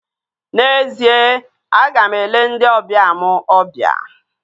N'ezie, aga m ele ndị ọbịa m obia